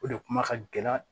O de kuma ka gɛlɛn